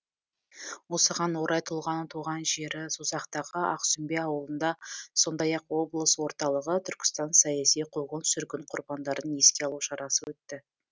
осыған орай тұлғаның туған жері созақтағы ақсүмбе ауылында сондай ақ облыс орталығы түркістан саяси қуғын сүргін құрбандарын еске алу шарасы өтті